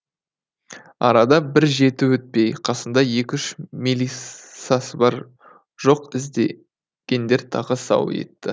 арада бір жеті өтпей қасында ек үш мелисасы бар жоқ іздегендер тағы сау етті